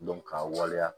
ka waleya